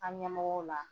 An ɲɛmɔgɔw la